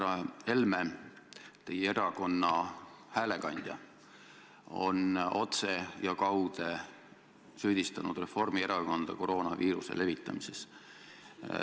Härra Helme, teie erakonna häälekandja on otse ja kaude süüdistanud Reformierakonda koroonaviiruse levitamises.